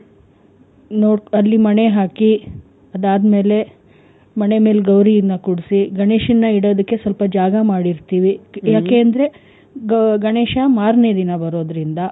ಇನ್ನು ಅಲ್ಲಿ ಮಣೆ ಹಾಕಿ ಅದಾದ್ ಮೇಲೆ ಮಣೆ ಮೇಲೆ ಗೌರಿಯನ್ನ ಕೂರ್ಸಿ ಗಣೇಶನ್ನ ಇಡೋದಕ್ಕೆ ಸ್ವಲ್ಪ ಜಾಗ ಮಾಡಿರ್ತೀವಿ. ಯಾಕಂದ್ರೆ ಗ ಗಣೇಶ ಮಾರ್ನೆ ದಿನ ಬರೋದ್ರಿಂದ.